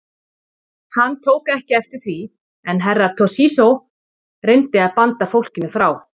Hann tók ekki eftir því en Herra Toshizo reyndi að banda fólkinu frá.